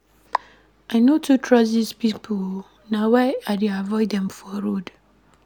I no too trust dese police pipo na why I dey avoid dem for road.